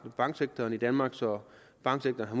banksektoren i danmark så banksektoren har